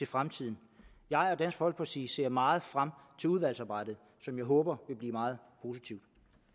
fremtiden jeg og dansk folkeparti ser meget frem til udvalgsarbejdet som jeg håber vil blive meget positivt